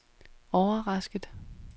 overrasket